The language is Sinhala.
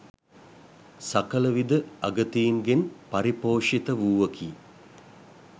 සකල විධ අගතීන්ගෙන් පරිපෝෂිත වූවකි.